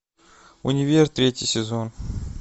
универ третий сезон